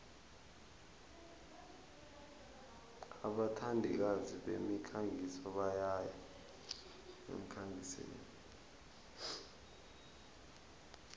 abathandikazi bemikhangiso bayaya emkhangisweni